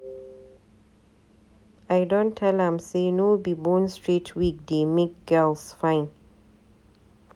I don tell am sey no be bone straight wig dey make girls fine